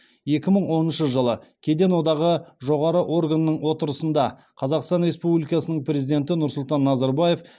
екі мың оныншы жылы кеден одағы жоғары органының отырысында қазақстан республикасының президенті нұрсұлтан назарбаев